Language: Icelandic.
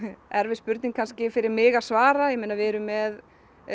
erfið spurning kannski fyrir mig að svara við erum með